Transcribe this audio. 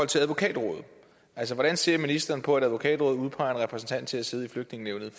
til advokatrådet hvordan ser ministeren på at advokatrådet udpeger en repræsentant til at sidde i flygtningenævnet